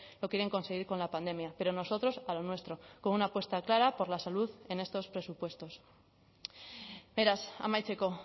lo quieren conseguir con la pandemia pero nosotros a lo nuestro con una apuesta clara por la salud en estos presupuestos beraz amaitzeko